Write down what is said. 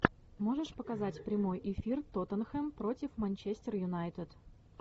можешь показать прямой эфир тоттенхэм против манчестер юнайтед